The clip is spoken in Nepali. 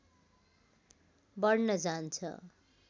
बढ्न जान्छ